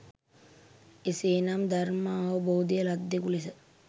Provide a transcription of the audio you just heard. එසේනම් ධර්මාවබෝධය ලද්දෙකු ලෙස